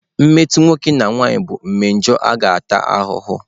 mmetọ nwoke na nwanyị bụ mmejọ a ga-ata ahụhụ.